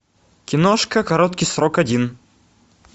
киношка короткий срок один